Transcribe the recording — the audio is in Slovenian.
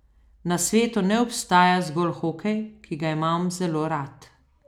Na svetu ne obstaja zgolj hokej, ki ga imam zelo rad.